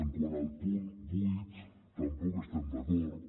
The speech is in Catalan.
quant al punt vuit tampoc hi estem d’acord